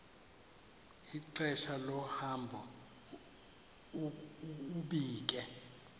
ixesha lohambo ubike